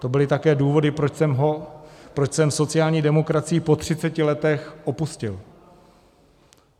To byly také důvody, proč jsem sociální demokracii po 30 letech opustil.